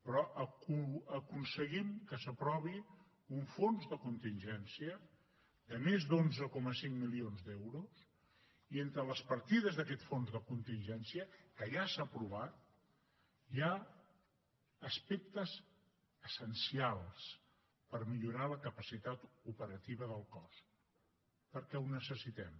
però aconseguim que s’aprovi un fons de contingència de més d’onze coma cinc milions d’euros i entre les partides d’aquest fons de contingència que ja s’ha aprovat hi ha aspectes essencials per millorar la capacitat operativa del cos perquè ho necessitem